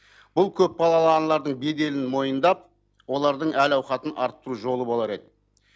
бұл көпбалалы аналардың беделін мойындап әл ауқатын арттыру жолы болар еді